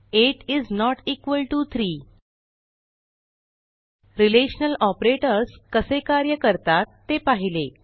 8 इस note equal to 3 relational operators कसे कार्य करतात ते पाहिले